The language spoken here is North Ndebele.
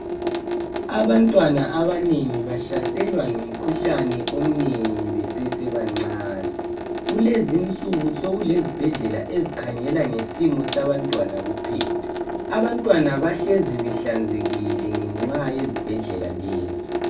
Abantwana abanengi bahlaselwa yimikhuhlane eminengi besesebancani. Kulezinsuku sekulezibhedlela ezikhangela ngesimo sabantwana kuphela. Abantwana bahlezi behlanzekile ngenxa yezibhedlela lezi.